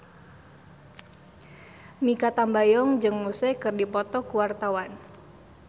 Mikha Tambayong jeung Muse keur dipoto ku wartawan